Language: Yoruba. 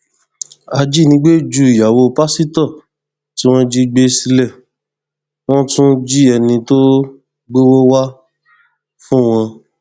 ajínigbé ju ìyàwó pásítọ tí wọn jí gbé sílé wọn tún jí ẹni tó gbowó wàá fún wọn